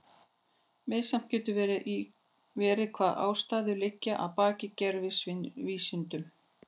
Misjafnt getur verið hvaða ástæður liggja að baki gervivísindum.